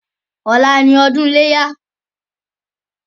Ọlá ni ọdún iléyá.